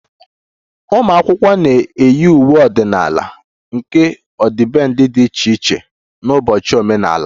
Ụmụ akwụkwọ na-eyi uwe ọdịnala nke ọdịbendị dị iche iche n'ụbọchị omenala